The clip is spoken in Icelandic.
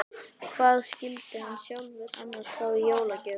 Hvað skyldi hann sjálfur annars fá í jólagjöf?